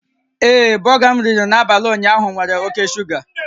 Ee, bọga m riri n'abalị ụnyaahụ nwere oke shuga